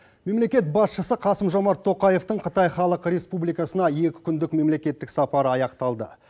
мемлекет басшысы қасым жомарт тоқаевтың қытай халық республикасына екі күндік мемлекеттік сапары аяқталды